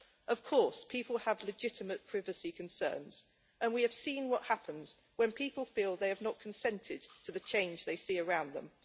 Of course, people have legitimate privacy concerns, and we have seen what happens when people feel they have not consented to the changes they see around them.